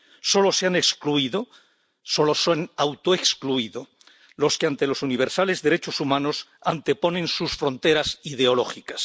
Solo se han excluido, solo se han autoexcluido, los que, ante los universales derechos humanos, anteponen sus fronteras ideológicas.